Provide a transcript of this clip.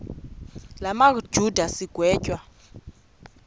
la majuda sigwetywa